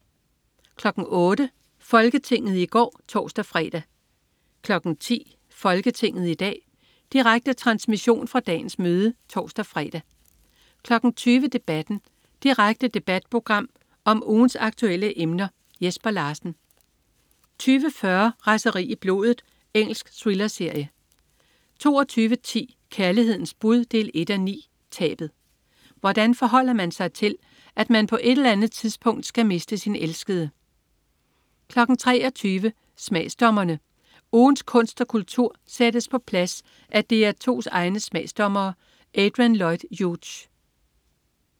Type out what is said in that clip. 08.00 Folketinget i går (tors-fre) 10.00 Folketinget i dag. Direkte transmission fra dagens møde (tors-fre) 20.00 Debatten. Direkte debatprogram om ugens aktuelle emner. Jesper Larsen 20.40 Raseri i blodet. Engelsk thrillerserie 22.10 Kærlighedens bud 1:9. Tabet. Hvordan forholder man sig til, at man på et eller andet tidspunkt skal miste sin elskede? 23.00 Smagsdommerne. Ugens kunst og kultur sættes på plads af DR2's egne smagsdommere. Adrian Lloyd Hughes